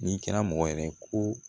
N'i kɛra mɔgɔ wɛrɛ ye ko